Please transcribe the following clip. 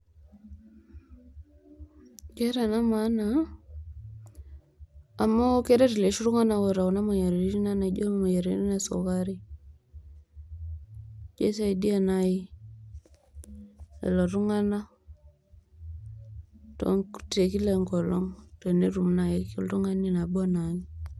Keeta ena maana amu keret iloshi tunganak oota kuna moyiaritin ana emoyian esukari, kisaidia nai lelo tunganak te kila enkolong tenetum nai oltungani nabo anaake.